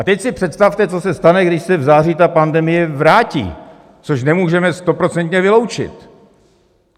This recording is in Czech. A teď si představte, co se stane, když se v září ta pandemie vrátí, což nemůžeme stoprocentně vyloučit.